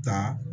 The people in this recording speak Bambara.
Taa